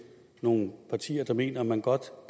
nogle partier der mener at man godt